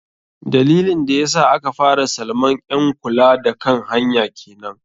Dalilin da yasa aka fara salaman ƴn kula da kan hanya kenan.